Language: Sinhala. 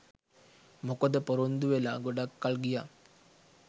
මොකද පොරොන්දු වෙලා ගොඩක් කල් ගියා